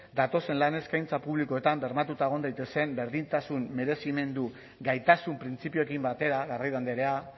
datozen lan eskaintza publikoetan bermatuta egon daitezen berdintasun merezimendu eta gaitasun printzipioekin batera garrido andrea